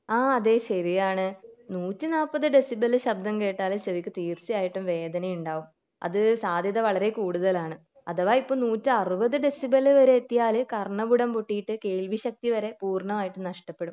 ആഹ് അതെ ശെരിയാണ് നൂറ്റി നാല്പത് ഡെസിബെൽ ശബ്ദം കേട്ടാൽ ചെവിക്ക് തീർച്ചയായിട്ടും വേദന ഉണ്ടാകും അത് സാധ്യത വളരേ കൂടുതലാണ് അഥവാ ഇപ്പൊ നൂറ്റി അറുപത് ഡെസിബെൽ വരെ എത്തിയാൽ കർണപുടം പോയിട്ട് കേൾവി ശക്തി വരെ പോറാനന്മയിട്ടും നഷ്ടപ്പെടും